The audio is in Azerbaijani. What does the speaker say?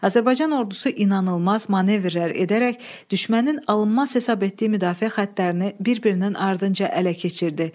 Azərbaycan ordusu inanılmaz manevrlər edərək düşmənin alınmaz hesab etdiyi müdafiə xəttlərini bir-birinin ardınca ələ keçirdi.